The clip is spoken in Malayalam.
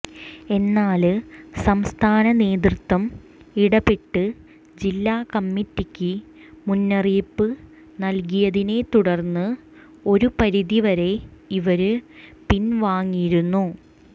എന്നാല് സംസ്ഥാനനേതൃത്വം ഇടപെട്ട് ജില്ലാകമ്മിറ്റിക്ക് മുന്നറിയിപ്പ് നല്കിയതിനെ തുടര്ന്ന് ഒരു പരിധിവരെ ഇവര് പിന്വാങ്ങിയിരുന്നു